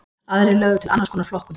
Aðrir lögðu til annars konar flokkun.